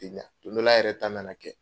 don dɔ la yɛrɛ ta na na kɛ